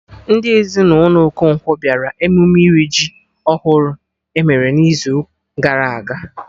Ndị ezinụlọ Okonkwo bịara emume iri ji ọhụrụ emere n'izu gara aga